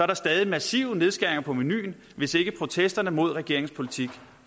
der stadig massive nedskæringer på menuen hvis ikke protesterne mod regeringens politik